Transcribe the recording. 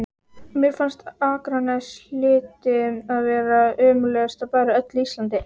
Mér fannst að Akranes hlyti að vera ömurlegasti bær á öllu Íslandi.